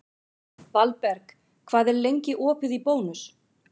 Valberg, hvað er lengi opið í Bónus?